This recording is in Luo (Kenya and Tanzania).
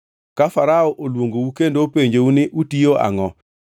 Ka Farao oluongou kendo openjou ni, ‘Utiyo angʼo?’